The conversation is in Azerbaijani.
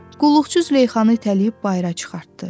Qulluqçu Züleyxanı itələyib bayıra çıxartdı.